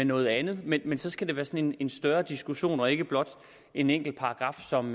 noget andet men men så skal det være sådan en større diskussion og ikke blot en enkelt paragraf som